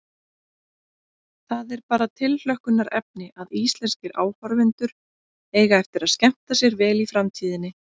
Það er bara tilhlökkunarefni að íslenskir áhorfendur eiga eftir að skemmta sér vel í framtíðinni.